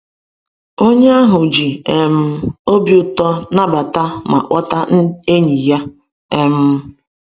Onye ahụ ji um obi ụtọ nabata ma kpọta enyi ya. um